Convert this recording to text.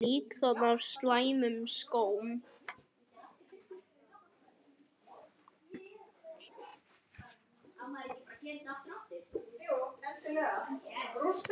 Líkþorn stafa af slæmum skóm.